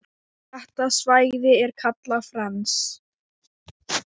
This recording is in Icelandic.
Þetta svæði er kallað Fens.